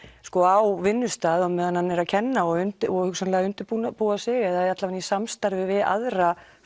á vinnustað á meðan hann er að kenna og og hugsanlega undirbúa sig eða allavega í samstarfi við aðra